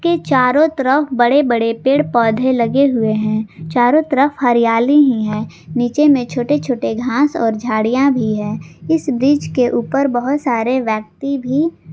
चारों तरफ बड़े बड़े पेड़ पौधे लगे हुए हैं चारों तरफ हरियाली ही है नीचे में छोटे छोटे घास और झाड़ियां भी है इस ब्रिज के ऊपर बहुत सारे व्यक्ति भी --